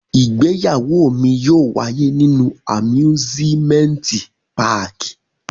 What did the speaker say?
Igbeyawo mi yóò waye ninu amusimenti pààki.